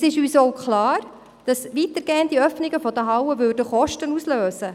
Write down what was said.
Es ist uns klar, dass weitergehende Öffnungen der Hallen Kosten auslösen.